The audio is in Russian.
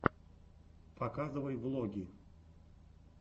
показывай влоги